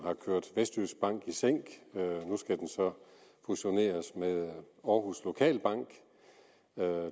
har kørt vestjyskbank i sænk nu skal den så fusioneres med aarhus lokalbank